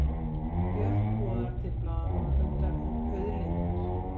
Björk boðar til blaðamannafundar um auðlindir